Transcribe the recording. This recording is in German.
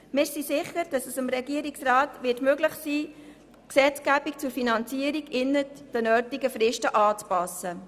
Wir sind sicher, dass es dem Regierungsrat möglich sein wird, die Gesetzgebung zur Finanzierung innerhalb der gegebenen Fristen anzupassen.